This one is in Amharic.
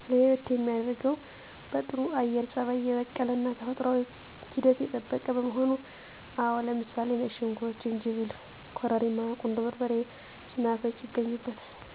ለየት የሚያደርገው በጥሩ የአየር ፀባይ የበቀለ እና ተፈጥሯዊ ሂደት የጠበቀ መሆኑ። አዎ ለምሳሌ ነጭ ሽንኩርት፣ ዝንጅብል፣ ኮረሪማ፣ ቁንዶ በርበሬ፣ ሰናፍጭ ይገኙበታል።